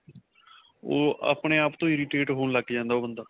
ਓਹ ਆਪਣੇ ਆਪ ਤੋ irritate ਹੋਣ ਲਗ ਜਾਂਦਾ ਓਹ ਬੰਦਾ.